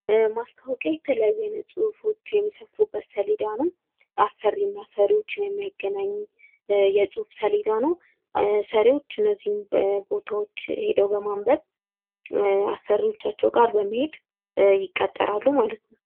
ማስታወቂያ የተለያዩ አይነት ሁፎች የሚሰፍሩበት ሰሌዳ ነው አሰሪና ሰሪዎችን የሚያገናኝ የፅሁፍ ሰሌዳ ነው ሰሪዎች እነዚህን ሰሌዳዎች ሄደው በመንበብ አሰሪዎቻቸው ጋር በመሄድ ይቀጠራሉ ማለት ነው።